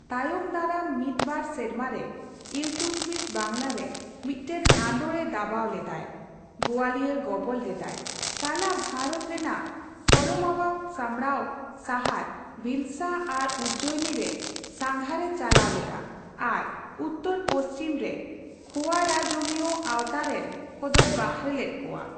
ᱛᱟᱭᱚᱢ ᱫᱟᱨᱟᱢ ᱢᱤᱫ ᱵᱟᱨ ᱥᱮᱨᱢᱟᱨᱮ ᱤᱞᱛᱩᱛᱢᱤᱥ ᱵᱟᱝᱞᱟ ᱨᱮ ᱢᱤᱫᱴᱟᱝ ᱟᱱᱫᱳᱲ ᱮ ᱫᱟᱵᱟᱣ ᱞᱮᱫᱟᱭ, ᱜᱚᱣᱟᱞᱤᱭᱚᱨ ᱜᱚᱵᱚᱞ ᱞᱮᱫᱟᱭ, ᱛᱟᱞᱟ ᱵᱷᱟᱨᱚᱛ ᱨᱮᱱᱟᱜ ᱯᱚᱨᱚᱢᱟᱣᱟᱜ ᱥᱟᱢᱵᱽᱲᱟᱣ ᱥᱟᱦᱟᱨ ᱵᱷᱤᱞᱥᱟ ᱟᱨ ᱩᱡᱡᱚᱭᱤᱱᱤ ᱨᱮ ᱥᱟᱱᱜᱷᱟᱨ ᱮ ᱪᱟᱞᱟᱣ ᱞᱮᱫᱟ ᱟᱨ ᱩᱛᱛᱚᱨᱼ ᱯᱩᱪᱷᱤᱢ ᱨᱮ ᱠᱷᱳᱭᱟᱨᱟᱡᱚᱢᱤᱭᱚ ᱟᱣᱛᱟᱨᱮᱱ ᱠᱚᱫᱚᱭ ᱵᱟᱦᱮᱨ ᱞᱮᱫ ᱠᱚᱣᱟ ᱾